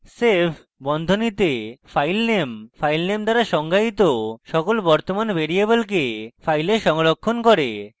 save বন্ধনীতে filename filename দ্বারা সংজ্ঞায়িত সকল বর্তমান ভ্যারিয়েবলকে file সংরক্ষণ করে